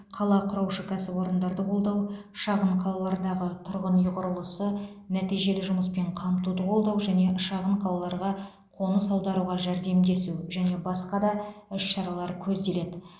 қала құраушы кәсіпорындарды қолдау шағын қалалардағы тұрғын үй құрылысы нәтижелі жұмыспен қамтуды қолдау және шағын қалаларға қоныс аударуға жәрдемдесу және басқа да іс шаралар көзделеді